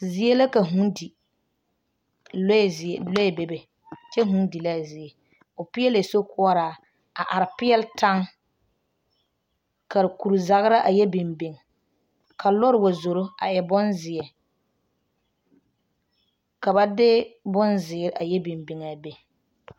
Zie la ka vūū di lɔɛ zie lɔɛ bebe kyɛ vūū di l,a zie o peɛlɛɛ sokuoraa a are peɛle taŋ ka kurizagra a yɛ biŋ biŋ ka lɔre wa zoro a e bonzeɛ ka ba de bonzeɛ a yɛ biŋ biŋ a be.